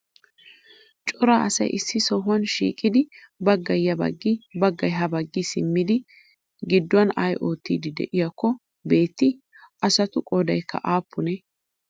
Cora asay issi sohuwan shiiqidi baggay ya baggi baggay ha baggi simmidi gidduwan ay oottidi de'iyakko beettii? Asatu qoodaykka aappunee?